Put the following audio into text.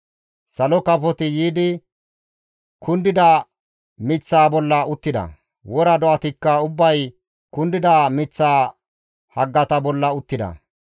Salo kafoti yiidi kundida miththaa bolla uttida; wora do7atikka ubbay kundida miththaa haggata bolla uttida.